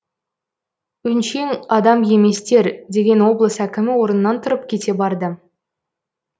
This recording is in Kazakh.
өңшең адам еместер деген облыс әкімі орнынан тұрып кете барды